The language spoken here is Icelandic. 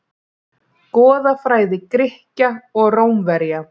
Goðafræði Grikkja og Rómverja.